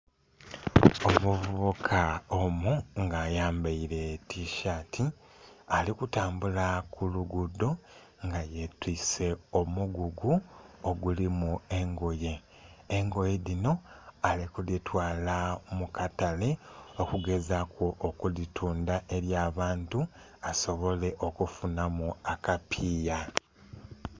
Omuvubuka omu nga ayambaire tisaati ali kutambula ku lugudho nga yetwise omugugu ogulimu engoye, engoye dhino ali kudhitwala mu katale okugezaku okudhitundha eri abantu asobole okufunhamu akapiiya.